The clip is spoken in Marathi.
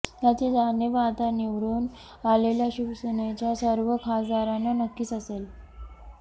याची जाणीव आता निवडून आलेल्या शिवसेनेच्या सर्व खासदारांना नक्कीच असेल